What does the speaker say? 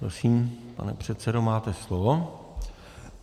Prosím, pane předsedo, máte slovo.